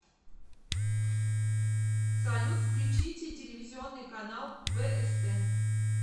салют включите телевизионный канал бст